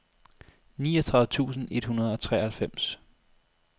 niogtredive tusind et hundrede og treoghalvfems